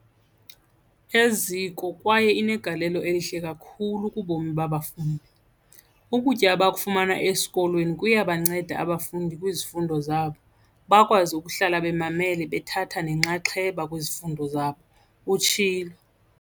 Eziko kwaye inegalelo elihle kakhulu kubomi babafundi. Ukutya abakufumana esikolweni kuyabanceda abafundi kwizifundo zabo, bakwazi ukuhlala bemamele bethatha nenxaxheba kwizifundo zabo, utshilo.